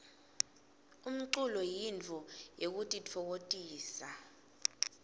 umculo yintfo yekutitfokotisa